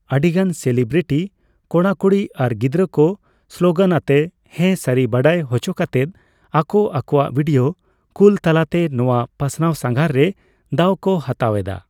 ᱟᱹᱰᱤᱜᱟᱱ ᱥᱮᱞᱤᱵᱨᱤᱴᱤ, ᱠᱚᱲᱟᱼᱠᱩᱲᱤ ᱟᱨ ᱜᱤᱫᱽᱨᱟᱹ ᱠᱚ ᱥᱞᱳᱜᱟᱱ ᱟᱛᱮ ᱦᱮᱸ ᱥᱟᱨᱤ ᱵᱟᱰᱟᱭ ᱦᱚᱪᱚ ᱠᱟᱛᱮᱫ ᱟᱠᱳ ᱟᱠᱳᱣᱟᱜ ᱵᱷᱤᱰᱤᱭᱳ ᱠᱳᱞ ᱛᱟᱞᱟᱛᱮ ᱱᱚᱣᱟ ᱯᱟᱥᱱᱟᱣ ᱥᱟᱸᱜᱷᱟᱨ ᱨᱮ ᱫᱟᱣ ᱠᱚ ᱦᱟᱛᱟᱣ ᱮᱫᱟ ᱾